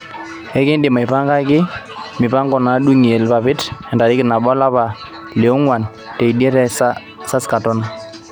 ekindim aipangi mpango nadung'ie ilpapit entarikini nabo olapa li onguan teidie te saskatoon